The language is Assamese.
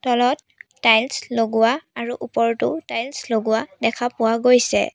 তলত টাইলছ্ লগোৱা আৰু ওপৰতও টাইলছ্ লগোৱা দেখা পোৱা গৈছে।